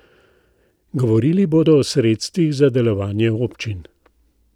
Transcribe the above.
Govorili bodo o sredstvih za delovanje občin.